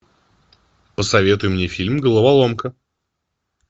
посоветуй мне фильм головоломка